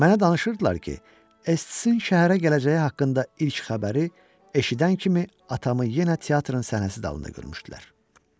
Mənə danışırdılar ki, Estsin şəhərə gələcəyi haqqında ilk xəbəri eşidən kimi atamı yenə teatrın səhnə dalında görmüşdülər.